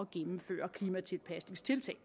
gennemføre klimatilpasningstiltag